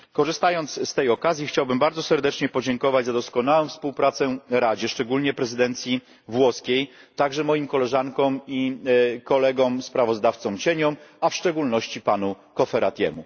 Korzystając z tej okazji, chciałbym bardzo serdecznie podziękować za doskonałą współpracę Radzie, szczególnie prezydencji włoskiej, a także moim koleżankom i kolegom kontrsprawozdawcom, a w szczególności panu Cofferatiemu.